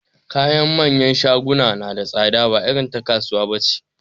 Kayan manyan shaguna na da tsada ba irin ta kasuwa nace